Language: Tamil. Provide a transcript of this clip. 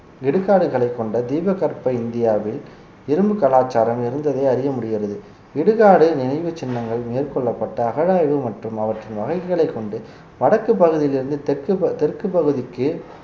இடுகாடுகளை கொண்ட தீபகற்ப இந்தியாவில் இரும்பு கலாச்சாரம் இருந்ததை அறிய முடிகிறது இடுகாடு நினைவுச் சின்னங்கள் மேற்கொள்ளப்பட்ட அகழாய்வு மற்றும் அவற்றின் வகைகளைக் கொண்டு வடக்குப் பகுதியில் இருந்து தெற்கு ப~ தெற்குப் பகுதிக்கு